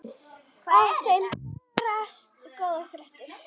Af þeim berast góðar fréttir.